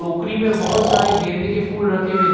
टोकरी में बहुत सारे गेंदे के फूल रखे हुए--